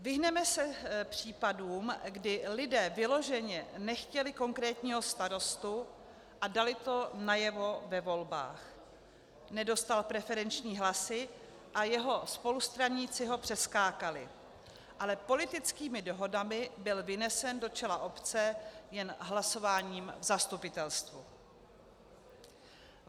Vyhneme se případům, kdy lidé vyloženě nechtěli konkrétního starostu a dali to najevo ve volbách, nedostal preferenční hlasy a jeho spolustraníci ho přeskákali, ale politickými dohodami byl vynesen do čela obce jen hlasováním v zastupitelstvu.